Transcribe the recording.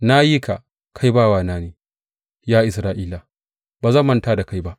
Na yi ka, kai bawana ne; Ya Isra’ila, ba zan manta da kai ba.